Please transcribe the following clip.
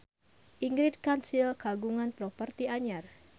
Ingrid Kansil kagungan properti anyar